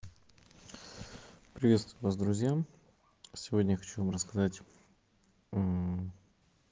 приветствую вас друзьям сегодня я хочу вам рассказать